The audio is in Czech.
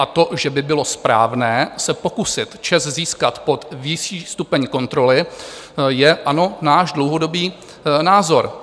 A to, že by bylo správné se pokusit ČEZ získat pod vyšší stupeň kontroly, ano, je náš dlouhodobý názor.